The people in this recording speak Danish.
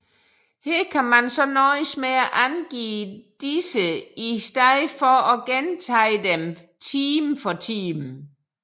Her kan man så nøjes med at angive disse i stedet for at gentage dem time for time